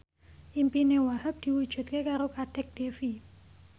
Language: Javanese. impine Wahhab diwujudke karo Kadek Devi